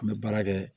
An bɛ baara kɛ